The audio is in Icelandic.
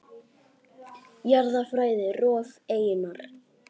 Jarðfræði: Rof eyjunnar.